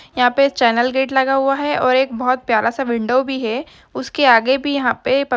यहाँ पे channel gate लगा हुआ है और एक बहुत प्यारा सा विंडो भी है उसके आगे भी यहाँ पे प --